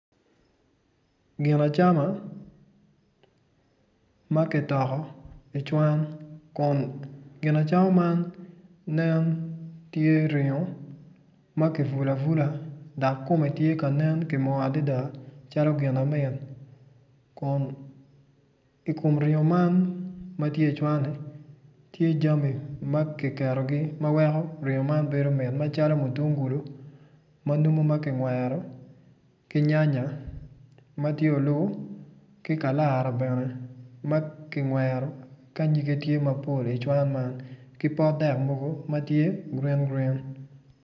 Gin acama ma ki toko icwan kun gin acama man tye ringo ma ki vulu avula dak kume ti ka nen ki moo adida calo Gina mit kun ikume ringo man ma tye icwani tye cami ma ki keto ma weko jami bedo mit macalo mutungulu ma numu ma ki ngwero ki nyanya ma ti olu ki ka Lara bene ma ki ngwero ka nyige tye mapol icwan man ki pot dek mogo ma tye gurin gurin